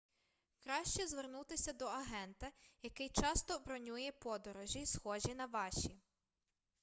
краще звернутися до агента який часто бронює подорожі схожі на ваші